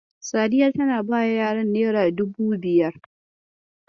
Sadiya ta bawa yaran nera dubu biyar.